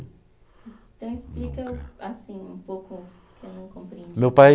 Então explica assim, um pouco o que eu não compreendi. Meu pai